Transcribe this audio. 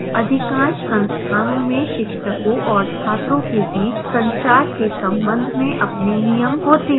अधिकांश संस्थानों में शिक्षकों और छात्रों के बीच संचार के संबंध में अपने नियम होते हैं